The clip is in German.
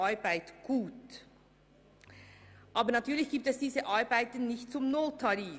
Aber natürlich gibt es diese Arbeit nicht zum Nulltarif.